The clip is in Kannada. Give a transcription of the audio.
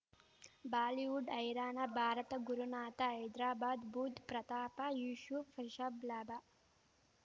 ಬಾಲಿವುಡ್ ಹೈರಾಣ ಭಾರತ ಗುರುನಾಥ ಹೈದ್ರಾಬಾದ್ ಬುಧ್ ಪ್ರತಾಪ ಯೂಶೂಫ್ ರಿಷಬ್ ಲಾಭ